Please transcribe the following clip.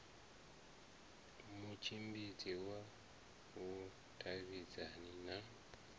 na mutshimbidzi wa vhudavhidzani na